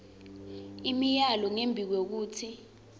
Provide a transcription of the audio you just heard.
imiyalo ngembi kwekutsi